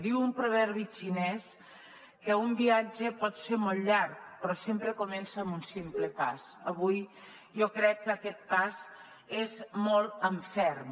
diu un proverbi xinès que un viatge pot ser molt llarg però sempre comença amb un simple pas avui jo crec que aquest pas és molt en ferm